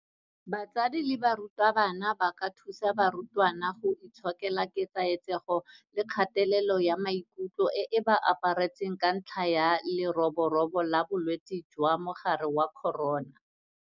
BATSADI LE BARUTABANA ba ka thusa barutwana go itshokela ketsaetsego le kgatelelo ya maikutlo e e ba aparetseng ka ntlha ya leroborobo la bolwetse jwa mogare wa corona.